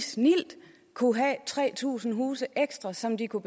snildt kunne have tre tusind huse ekstra som de kunne